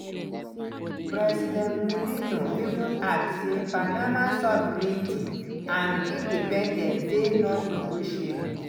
president mulino even add say panama sovereignty and independence dey non-negotiable.